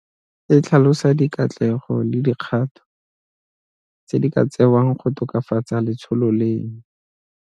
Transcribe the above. E tlhalosa dikatlego le dikgato tse di ka tsewang go tokafatsa letsholo leno.